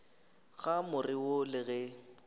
ga more wo le ge